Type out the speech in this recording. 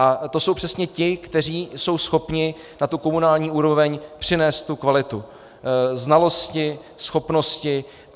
Ale to jsou přesně ti, kteří jsou schopni na tu komunální úroveň přinést tu kvalitu, znalosti, schopnosti.